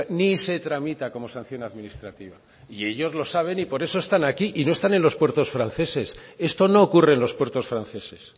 ni se tramita como sanción administrativa y ellos lo saben y por eso están aquí y no están en los puertos franceses esto no ocurre en los puertos franceses